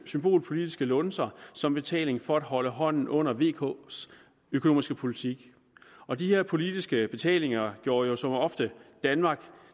symbolpolitiske lunser som betaling for at holde hånden under vks økonomiske politik og de her politiske betalinger gjorde jo som ofte danmark